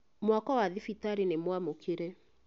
Mwako wa thibitarĩ nĩ nyamũkĩre